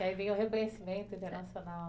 E aí vem o reconhecimento internacional.